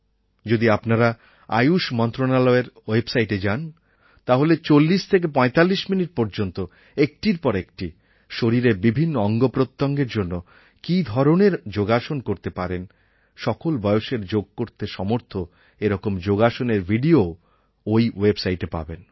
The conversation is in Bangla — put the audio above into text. যদি আপনারা আয়ুশ মন্ত্রণালয়ের ওয়েবসাইটে যান তাহলে ৪০৪৫ মিনিট পর্যন্ত একটির পর একটি শরীরের বিভিন্ন অঙ্গপ্রত্যঙ্গের জন্য কী ধরণের যোগাসন করতে পারেন সকল বয়সের যোগ করতে সমর্থ এরকম যোগাসনএর ভিডিওও এই ওয়েবসাইটে পাবেন